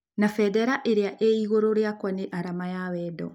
Na bendera iria ĩ igũrũ rĩakwa nĩ arama ya ya wendo.